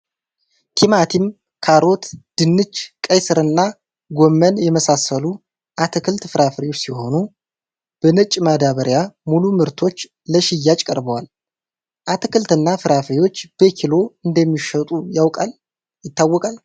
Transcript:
ቲማቲም፥ ካሮት፥ ድንች፥ ቀይስርና ጎመን የመሳሰሉ አትክልት ፍራፍሬዎች ሲሆኑ በነጭ ማደበርያ ሙሉ ምርቶች ለሽያጭ ቀርበዋል ።አትክልትና ፍራፍሬዎች በኪሎ እንደሚሸጡ ይታወቃል ።